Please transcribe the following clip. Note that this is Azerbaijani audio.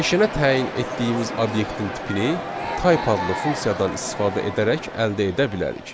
Dəyişənə təyin etdiyimiz obyektin tipini Type adlı funksiyadan istifadə edərək əldə edə bilərik.